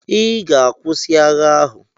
I ga-akwụsị agha ahụ!